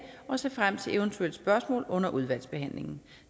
og ser frem til eventuelle spørgsmål under udvalgsbehandlingen